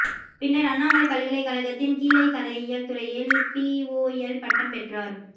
பின்னர் அண்ணாமலைப் பல்கலைக் கழகத்தில் கீழைக்கலையியல் துறையில் பிஓஎல் பட்டம் பெற்றார்